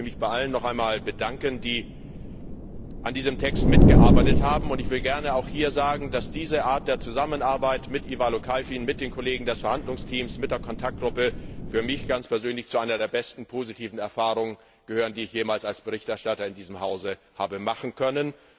Ich möchte mich bei allen noch einmal bedanken, die an diesem Text mitgearbeitet haben, und ich will hier auch gerne sagen, dass diese Art der Zusammenarbeit mit Ivailo Kalfin, mit den Kollegen des Verhandlungsteams und mit der Kontaktgruppe für mich ganz persönlich zu einer der besten positiven Erfahrungen gehört, die ich jemals als Berichterstatter in diesem Hause habe machen können.